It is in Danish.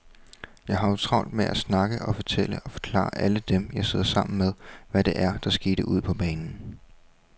Jeg har jo travlt med at snakke og fortælle og forklare alle dem, jeg sidder sammen med, hvad det er, der sker ude på banen.